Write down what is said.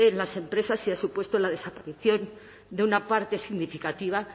las empresas y han supuesto la desaparición de una parte significativa